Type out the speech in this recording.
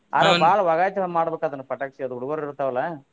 ವಾಗಾತಿ ಒಂದ್ ಮಾಡಬೇಕ ಅದನ್ನ ಪಟಾಕ್ಷಿ ಅದು ಹುಡುಗ್ರು ಇರ್ತಾವಲ್ಲ.